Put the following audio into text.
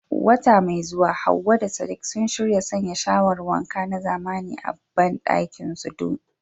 Wata mai zuwa Hawwa da Sadiq sun shirya sanya shawar wanka na zamani a bandakinsu dinsu.